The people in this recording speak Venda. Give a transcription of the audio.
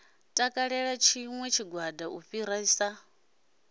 takalela tshiṋwe tshigwada u fhirisa